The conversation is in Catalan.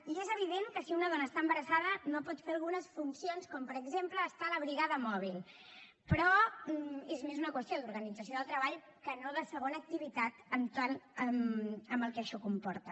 i és evident que si una dona està embarassada no pot fer algunes funcions com per exemple estar a la brigada mòbil però és més una qüestió d’organització del treball que no de segona activitat amb el que això comporta